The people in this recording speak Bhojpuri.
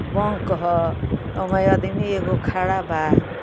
बा कह ओमे आदमी एगो खडा बा।